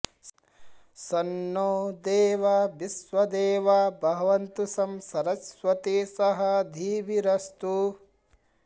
शं नो॑ दे॒वा वि॒श्वदे॑वा भवन्तु॒ शं सर॑स्वती स॒ह धी॒भिर॑स्तु